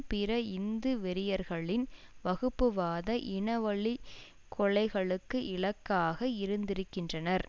பிற இந்து வெறியர்களின் வகுப்புவாத இனவழிக் கொலைகளுக்கு இலக்காக இருந்திருக்கின்றனர்